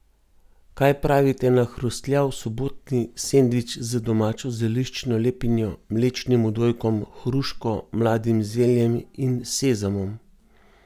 Kaj pravite na hrustljav sobotni sendvič z domačo zeliščno lepinjo, mlečnim odojkom, hruško, mladim zeljem in sezamom?